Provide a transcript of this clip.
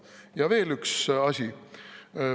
Ja veel üks asi.